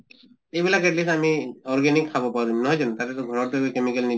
এইবিলাক at least আমি organic খাব পাৰিম নহয় জানো? তাতে তো ঘৰত chemical নি